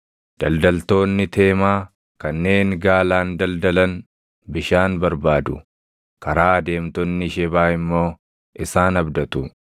Daldaltoonni Teemaa kanneen gaalaan daldalan bishaan barbaadu; karaa adeemtonni Shebaa immoo isaan abdatu.